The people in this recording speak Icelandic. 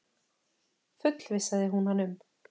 fullvissaði hún hann um.